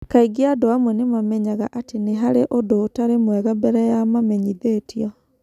Kaingĩ andũ amwe nĩ mamenyaga atĩ nĩ harĩ ũndũ ũtarĩ mwega mbere ya mamenyithĩtio.